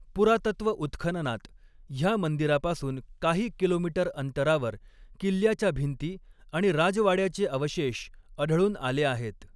पुरातत्व उत्खननात ह्या मंदिरापासून काही किलोमीटर अंतरावर किल्ल्याच्या भिंती आणि राजवाड्याचे अवशेष आढळून आले आहेत.